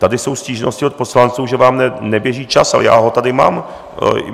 Tady jsou stížnosti od poslanců, že vám neběží čas, ale já ho tady mám.